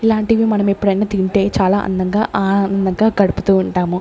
ఇలాంటివి మనం ఎప్పుడన్న తింటే చాలా అందంగా ఆనందంగా గడుపుతూ ఉంటాము.